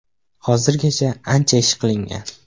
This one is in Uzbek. Hozirgacha ancha ish qilingan.